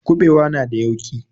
Kuɓewa na da yauƙi.